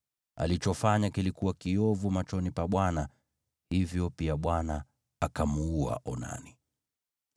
Alichofanya kilikuwa kiovu machoni pa Bwana , hivyo, pia Bwana akamuua Onani.